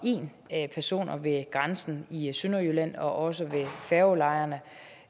en personer ved grænsen i sønderjylland og også ved færgelejerne